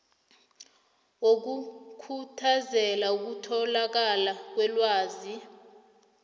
wokukhuthazela ukutholakala kwelwazi